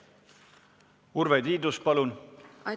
Urve Tiidus, palun!